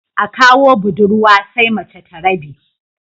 A kawo budurwa sai mace ta rabe